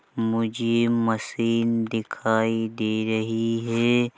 मुझे मशीन दिखायी दे रही हैं ।